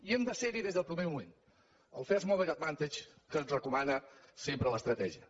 i hem de ser hi des del primer moment el first mover advantage que ens recomana sempre l’estratègia